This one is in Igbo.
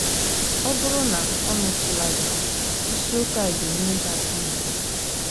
Ọ bụrụ na o metụla gị, isiokwu a ga - enyere gị aka idi ya.